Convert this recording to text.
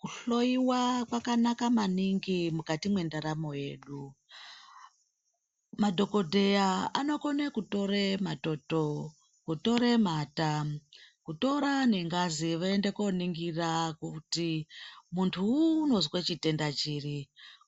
Kuhloiwa kwakanaka maningi mukati mwendaramo yedu. Madhokodheya anokone kutore matoto, kutore mata, kutora nengazi voende kooningira kuti muntuwu unozwe chitenda chiri.